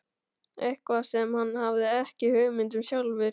Eitthvað sem hann hafði ekki hugmynd um sjálfur.